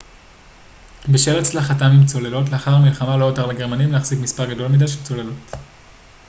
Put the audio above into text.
בשל הצלחתם עם צוללות לאחר המלחמה לא הותר לגרמנים להחזיק מספר גדול מדי של צוללות